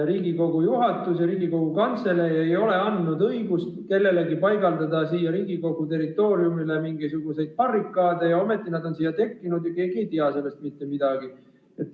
Riigikogu juhatus ja Riigikogu Kantselei ei ole andnud õigust kellelegi paigaldada siia Riigikogu territooriumile mingisuguseid barrikaade ja ometi need on siia tekkinud ja keegi ei tea sellest mitte midagi.